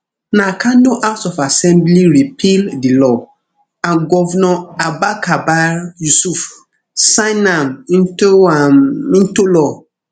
na kano house of assembly repeal di law and govnor abba kabir yusuf sign am into am into law